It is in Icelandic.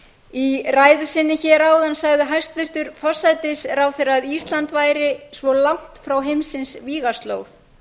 í ræðu sinni áðan sagði hæstvirtur forsætisráðherra að ísland væri svo langt frá heimsins vígaslóð